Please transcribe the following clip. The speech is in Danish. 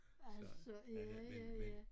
Altså ja ja ja